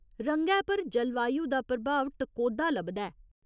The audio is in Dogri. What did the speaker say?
रंगै पर जलवायु दा प्रभाव टकोह्दा लभदा ऐ।